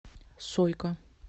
сойка